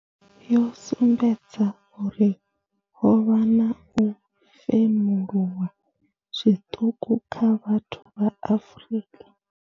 Yo sumbedza uri ho vha na u femuluwa zwiṱuku kha vhathu vha Afrika.